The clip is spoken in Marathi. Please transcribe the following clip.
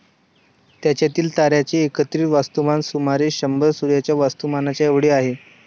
त्यांच्यातील ताऱ्यांचे एकत्रित वस्तुमान सुमारे शंभर सूर्याच्या वस्तुमानाच्या एवढी आहे